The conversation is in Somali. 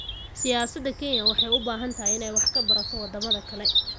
Siyaasada Kenya waxay u baahan tahay inay wax ka barato wadamada kale.